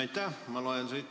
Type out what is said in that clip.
Aitäh!